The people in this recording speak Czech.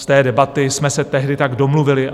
Z té debaty jsme se tehdy tak domluvili.